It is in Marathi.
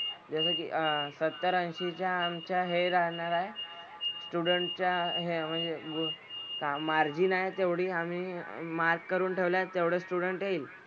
जसं की अह सत्तर, ऐंशीच्या आमच्या हे राहणार आहे student च्या हे म्हणजे group margin आहे आम्ही तेवढी mark करून ठ्वलेत तेवढं student येईल.